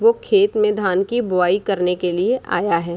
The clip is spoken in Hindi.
वो खेत में धान की बुवाई करने के लिए आया है।